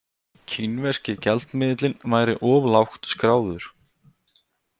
Kínverski gjaldmiðillinn væri of lágt skráður